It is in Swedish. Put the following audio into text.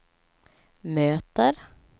möter